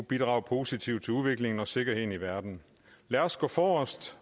bidrage positivt til udviklingen og sikkerheden i verden lad os gå forrest